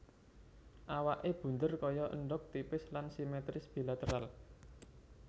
Awaké bundher kaya endhog tipis lan simetris bilateral